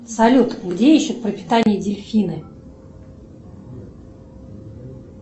салют где ищут пропитание дельфины